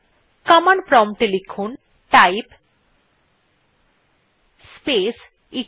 command prompt এ লিখুন type space echo